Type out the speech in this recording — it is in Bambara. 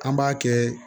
An b'a kɛ